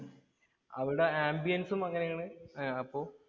അവരുടെ ambians ഉം അങ്ങനെയാണ്. അപ്പൊ